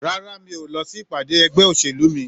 Rárá, mi ò lọ sí ìpàdé ẹgbẹ́ òṣèlú mi